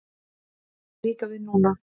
Það á líka við núna.